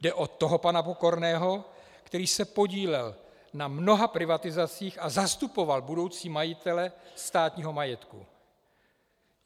Jde o toho pana Pokorného, který se podílel na mnoha privatizacích a zastupoval budoucí majitele státního majetku.